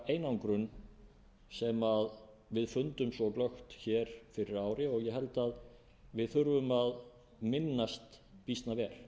einangrun sem við fundum svo glöggt fyrir ári og ég held að við þurfum að minnast býsna vel